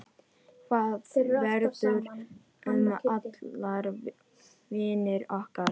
Hvað verður um allar vonir okkar?